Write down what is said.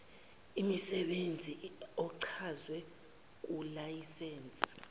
imsebenzi ochazwe kulayisense